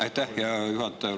Aitäh, hea juhataja!